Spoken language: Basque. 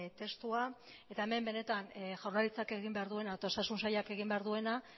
testua eta hemen benetan jaurlaritzak egin behar duena eta osasun sailak egin behar duena